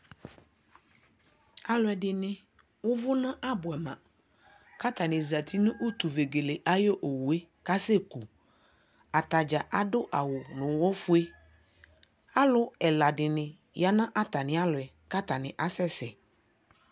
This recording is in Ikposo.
alʋɛdini ʋvʋ na bʋɛ ma kʋ atani zati nʋ utu vɛgɛlɛ ayi ɔwʋ kʋ asɛ kʋ, atagya adʋ awʋ nʋ ʋwɔ ƒʋɛ, alʋ ɛla dini yanʋ atani alɔɛ kʋatani asɛsɛ